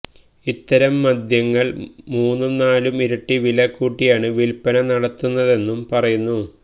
ഇത്തരം മദ്യങ്ങള് മൂന്നും നാലും ഇരട്ടി വില കൂട്ടിയാണ് വില്പന നടത്തുന്നതെന്നും പറയുന്നു